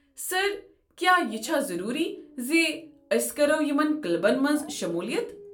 سر، کیا یہ چھا ضٔروٗری ز أسۍكرو یمن کٕلبن منٛز شموٗلِیت؟